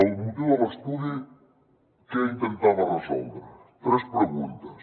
el motiu de l’estudi què intentava resoldre tres preguntes